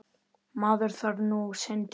Maður þarf nú sinn tíma.